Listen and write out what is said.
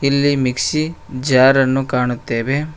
ಇಲ್ಲಿ mixie jar ಅನ್ನು ಕಾಣುತ್ತೆವೆ.